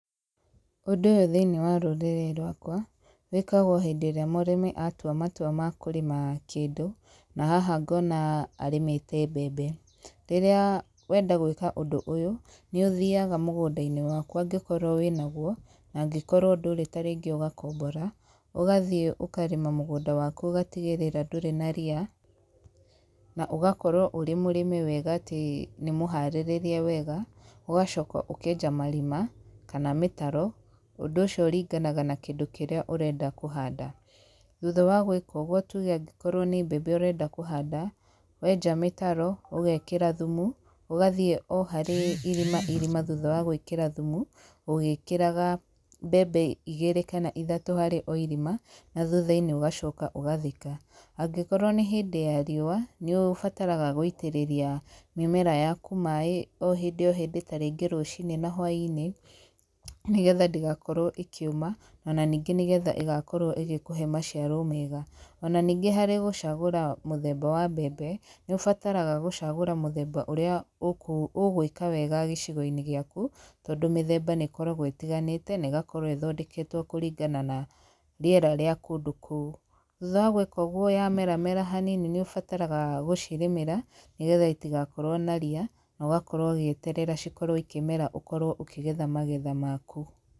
Ũndũ ũyũ thĩiniĩ wa rũrĩrĩ rwakwa, wĩkagwo hĩndĩ ĩrĩa mũrĩmi atua matua ma kũrĩma kĩndũ. Na haha ngona arĩmĩte mbembe. Rĩrĩa wenda gwĩka ũndũ ũyũ, nĩ ũthiaga mũgũnda-inĩ waku angĩkorwo wĩna guo, na angĩkorwo ndũrĩ tarĩngĩ ũgakombora. Ũgathiĩ ũkarĩma mũgũnda waku ũgatigĩrĩra ndũrĩ na ria, na ũgakorwo ũrĩ mũrĩme wega atĩ nĩ mũharĩrĩrie wega, ũgacoka ũkenja marima, kana mĩtaro. Ũndũ ũcio ũringinaga na kĩndũ kĩrĩa ũrenda kũhanda. Thutha wa gwĩka ũguo tuge angĩkorwo nĩ mbembe ũrenda kũhanda, wenja mĩtaro, ũgekĩra thumu, ũgathiĩ o harĩ irima irima thutha wa gwĩkĩra thumu, ũgĩkĩraga mbembe igĩrĩ kana ithatũ harĩ o irima, na thutha-inĩ ũgacoka ũgathika. Angĩkorwo nĩ hĩndĩ ya riũa, nĩ ũbataraga gũitĩrĩria mĩmera yaku maaĩ, o hĩndĩ o hĩndĩ tarĩngĩ rũcinĩ na hwainĩ, nĩgetha ndĩgakorwo ĩkĩũma, ona ningĩ nĩgetha ĩgakorwo ĩgĩkũhe maciaro mega. Ona ningĩ harĩ gũcagũra mũthemba wa mbembe, nĩ ũbataraga gũcagũra mũthemba ũrĩa ũgũĩka wega gĩcigo-inĩ gĩaku, tondũ mĩthemba nĩ ĩkoragwo ĩtiganĩte, na ĩgakorwo ĩthondeketwo kũringana na rĩera rĩa kũndũ kũu. Thutha wa gwĩka ũguo yamera mera hanini nĩ ũbataraga gũcirĩmĩra, nĩgetha itigakorwo na ria, na ũgakorwo ũgĩeterera cikorwo ikĩmera ũkorwo ũkĩgetha magetha maku.